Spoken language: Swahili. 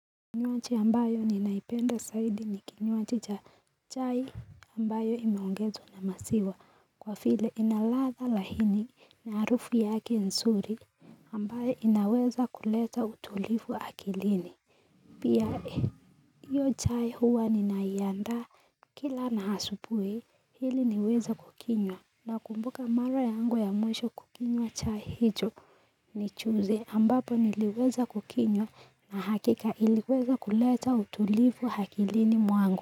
Kinywaji ambayo ninaipenda zaidi ni kinywaji cha chai ambayo imeongezwa na maziwa kwa vile ina ladha laini na harufu yake nzuri ambayo inaweza kuleta utulivu akilini Pia iyo chai huwa ninaianda kila na asubuhi ili niweza kukinywa nakumbuka mara yangu ya mwisho kukinywa chai hicho nijuzi ambapo niliweza kukinywa na hakika iliweza kuleta utulivu akilini mwangu.